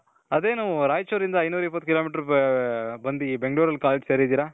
ಅದೇನು ರಾಯಚೂರ್ ಇಂದ ಐನೂರ್ ಇಪ್ಪತ್ತು kilometer ಬಂದಿ ಬೆಂಗ್ಳೂರಲ್ಲಿ college ಗೆ ಸೇರಿದಿರ .